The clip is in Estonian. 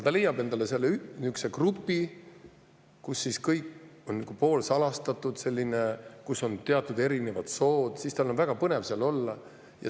Ta leiab endale nihukese grupi, kus kõik on selline poolsalastatud, kus on erinevad sood ja tal on väga põnev seal olla.